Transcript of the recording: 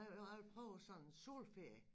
Nej nu vil jeg prøve sådan en solferie